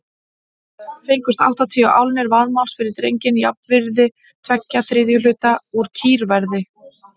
Fengust áttatíu álnir vaðmáls fyrir drenginn, jafnvirði tveggja þriðju hluta úr kýrverði.